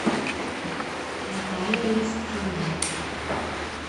наталья листвина